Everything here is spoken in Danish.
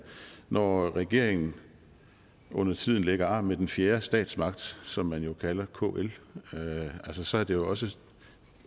når regeringen undertiden lægger arm med den fjerde statsmagt som man jo kalder kl så er det også